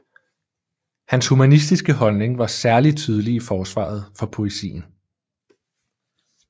Hans humanistiske holdning var særlig tydelig i forsvaret for poesien